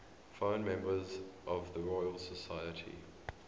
foreign members of the royal society